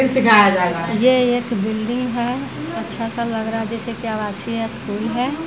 ये एक बिल्डिंग है अच्छा सा लग रहा है जैसे की आवासीय स्कूल है।